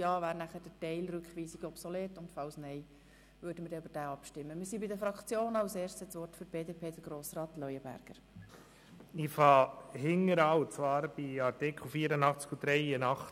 Ich beginne hinten, und zwar bei Artikel 84 und Artikel 83 Absatz 1 Buchstabe h.